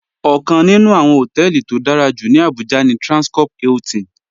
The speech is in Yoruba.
Ọ̀kaǹ nínù awọ́n họ̀tẹlì tó dárà jú ní Abuja ní Transcorp Hilton